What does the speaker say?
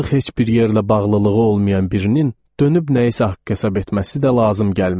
Artıq heç bir yerlə bağlılığı olmayan birinin dönüb nəyisə haqq hesab etməsi də lazım gəlməz.